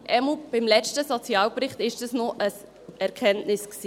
Jedenfalls war das beim letzten Sozialbericht noch eine Erkenntnis.